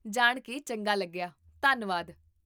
ਜਾਣ ਕੇ ਚੰਗਾ ਲੱਗਿਆ, ਧੰਨਵਾਦ